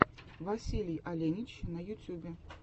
василий оленич на ютюбе